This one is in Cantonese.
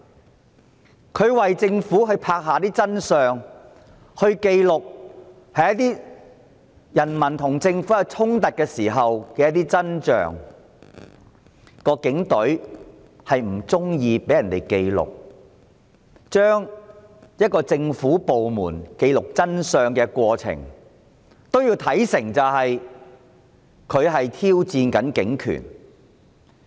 港台為政府拍下真相，記錄人民與政府衝突的真象，但因為警隊不喜歡被人記錄，便把一個政府部門記錄的真相，看成是挑戰警權。